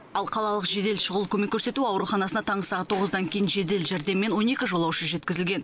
ал қалалық жедел шұғыл көмек көрсету ауруханасына таңғы сағат тоғыздан кейін жедел жәрдеммен он екі жолаушы жеткізілген